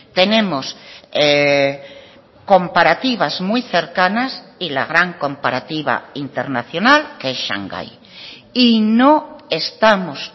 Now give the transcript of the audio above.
tenemos comparativas muy cercanas y la gran comparativa internacional que es shanghái y no estamos